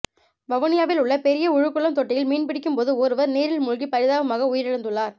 வவுனியாவில் உள்ள பெரிய உலுக்குளம் தொட்டியில் மீன்பிடிக்கும்போது ஒருவர் நீரில் மூழ்கி பரிதாபமாக உயிரிழந்துள்ளார்